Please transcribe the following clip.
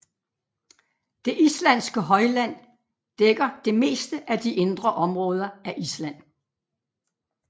Det islandske højland dækker det meste af de indre områder af Island